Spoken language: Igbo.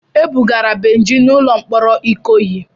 E bugara Benji n'ụlọ mkpọrọ Ikoyi.